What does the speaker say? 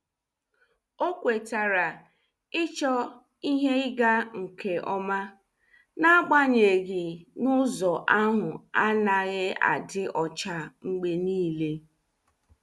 Ọ kwetara ịchọ ihe ịga nke ọma, n'agbanyeghị na ụzọ ahụ anaghị adị ọcha mgbe niile.